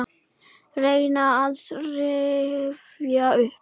Reyni að rifja upp.